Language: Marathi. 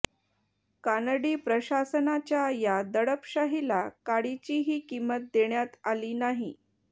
कानडी प्रशासनाच्या या दडपशाहीला काडीचीही किंमत देण्यात आली नाही